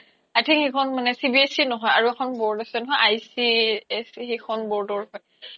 i think সেইখন মানে CBSE নহয় আৰু এখন board আছে নহয় ICSE সেইখন board ৰ চাগে